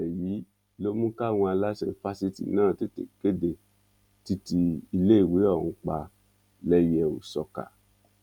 ìṣẹlẹ yìí ló mú káwọn aláṣẹ fásitì náà tètè kéde títí iléèwé ọhún pa lẹyẹòsọkà